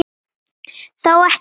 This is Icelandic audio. Þó ekki alveg.